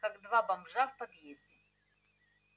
как два бомжа в подъезде